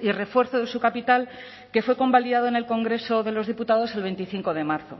y refuerzo de su capital que fue convalidado en el congreso de los diputados el veinticinco de marzo